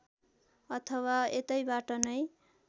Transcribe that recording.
अथवा यतैबाट नै